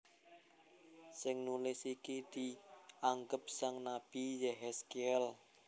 Sing nulis iki dianggep sang nabi Yéhèzkièl